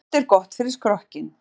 Nudd er gott fyrir skrokkinn.